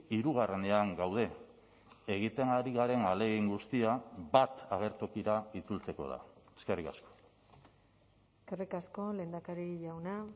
hirugarrenean gaude egiten ari garen ahalegin guztia bat agertokira itzultzeko da eskerrik asko eskerrik asko lehendakari jauna